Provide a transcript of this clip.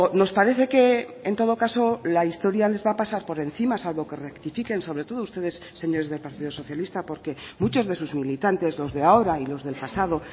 nos parece que en todo caso la historia les va a pasar por encima salvo que rectifiquen sobre todo ustedes señores del partido socialista porque muchos de sus militantes los de ahora y los del pasado